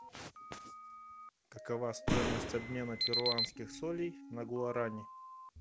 какова стоимость обмена перуанских солей на гуарани